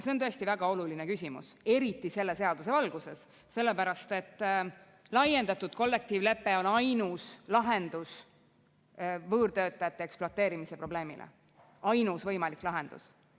See on tõesti väga oluline küsimus, eriti selle seaduse valguses, sellepärast et laiendatud kollektiivlepe on ainus lahendus võõrtöötajate ekspluateerimise probleemile, ainus võimalik lahendus.